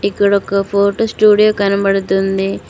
ఇక్కడ ఒక photo studio కనబడుతుంది.